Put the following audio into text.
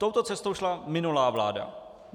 Touto cestou šla minulá vláda.